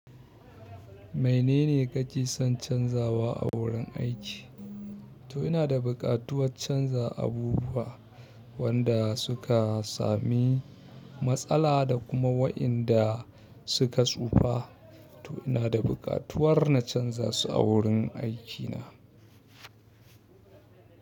Mene ne kake son canzawa a wurin aiki? To ina da bukatuwat canza abubuwa wanda suka sami matsala da kuma wa'yanda suka tsufa. To ina da buƙatuwar na canza su a wurin aikina.